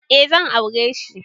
Eh zan aureshi